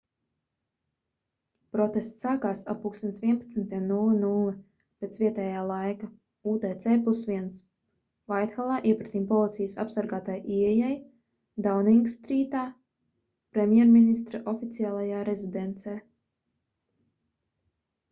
protests sākās ap plkst. 11:00 pēc vietējā laika utc+1 vaithallā iepretim policijas apsargātai ieejai dauningstrītā premjerministra oficiālajā rezidencē